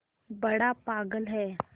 बड़ा पागल है